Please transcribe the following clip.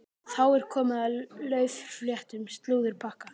Þá er komið að laufléttum slúðurpakka.